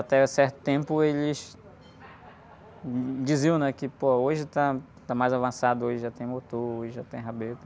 certo tempo eles diziam, né? Que, pô, que hoje está, está mais avançado, hoje já tem motor, hoje já tem...